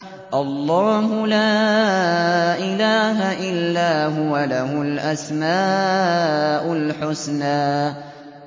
اللَّهُ لَا إِلَٰهَ إِلَّا هُوَ ۖ لَهُ الْأَسْمَاءُ الْحُسْنَىٰ